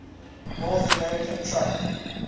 north american truck